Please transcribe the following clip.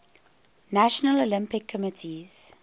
national olympic committees